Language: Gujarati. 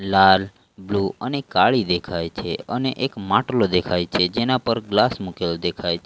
લાલ બ્લુ અને કાળી દેખાય છે અને એક માટલો દેખાય છે જેના પર ગ્લાસ મુક્યો દેખાય છે.